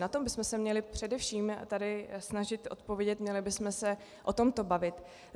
Na to bychom se měli především tady snažit odpovědět, měli bychom se o tomto bavit.